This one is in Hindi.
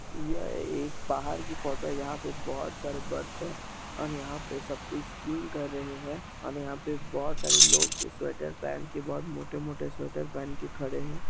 यह एक पहाड़ की फोटो है जहाँ पर बहुत सारा बर्फ है और यहाँ पे सब कोई स्कीन कर रहे हैं और यहाँ पे बहुत सारे लोग स्वेटर पहन के बहुत मोटे-मोटे स्वेटर पहन के खड़े हैं।